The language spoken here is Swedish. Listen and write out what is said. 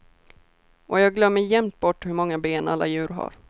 Och jag glömmer jämt bort hur många ben alla djur har.